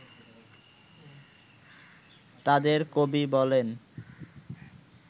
তাঁদের কবি বলেন